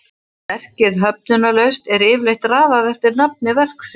sé verkið höfundarlaust er yfirleitt raðað eftir nafni verksins